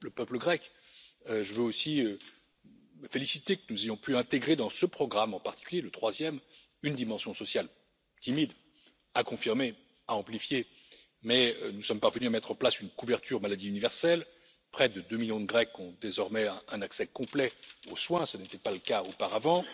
Pour le peuple grec, je veux aussi me féliciter que nous ayons pu intégrer dans ce programme, en particulier le troisième, une dimension sociale. Elle est certes timide, à confirmer et à amplifier, mais nous sommes parvenus à mettre en place une couverture maladie universelle près de deux millions de Grecs ont désormais un accès complet aux soins, ce qui n'était pas le cas auparavant